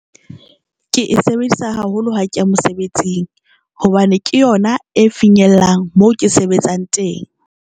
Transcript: Ke e sebedisa haholo ha ke ya mosebetsing hobane ke yona e finyellang moo ke sebetsang teng.